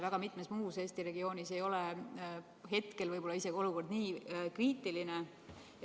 Väga mitmes muus Eesti regioonis ei ole hetkel olukord võib-olla isegi nii kriitiline.